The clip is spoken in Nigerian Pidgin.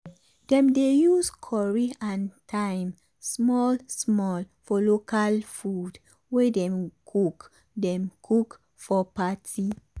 dem dey use curry and thyme small small for local food wey dem cook dem cook for party.